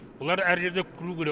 бұлар әр жерде көру керек